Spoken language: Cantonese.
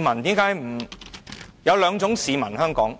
香港有兩種市民，